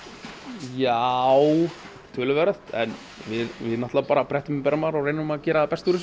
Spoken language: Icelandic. já töluvert en við bara brettum upp ermar og reynum að gera það besta úr þessu